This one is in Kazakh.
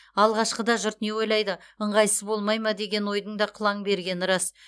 алғашқыда жұрт не ойлайды ыңғайсыз болмай ма деген ойдың да қылаң бергені рас